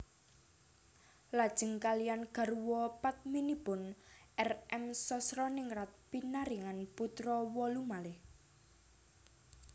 Lajeng kaliyan garwa padminipun R M Sosroningrat pinaringan putra wolu malih